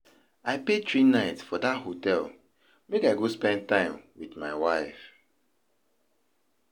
I pay three night for dat hotel make I go spend time wit my wife.